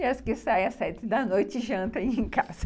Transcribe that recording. E as que saem às sete da noite, jantam em casa.